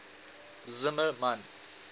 zimmermann